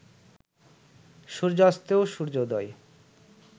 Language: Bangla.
সূর্যাস্তেও সূর্যোদয়